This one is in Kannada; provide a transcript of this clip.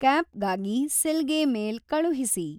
ಕ್ಯಾಪ್ಗಾಗಿ ಸಿಲ್ಗೆ ಮೇಲ್ ಕಳುಹಿಸಿ